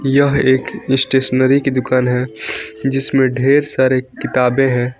यह एक स्टेशनरी की दुकान है जिसमें ढेर सारे किताबें हैं।